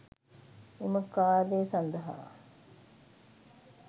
එම කාර්යය සඳහා